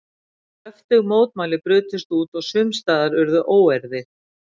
Kröftug mótmæli brutust út og sums staðar urðu óeirðir.